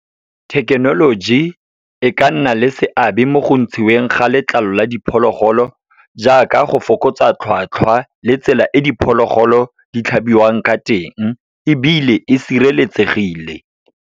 Thekenoloji, e ka nna le seabe mo go ntshiweng ga letlalo la diphologolo, jaaka go fokotsa tlhwatlhwa, le tsela e diphologolo di tlhabiwang ka teng, ebile e sireletsegile.